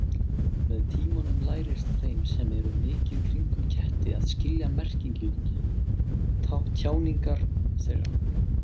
Með tímanum lærist þeim sem eru mikið kringum ketti að skilja merkingu tjáningar þeirra.